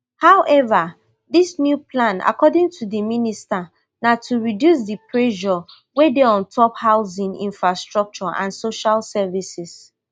however dis new plan according to di minister na to reduce di pressure wey dey ontop housing infrastructure and social services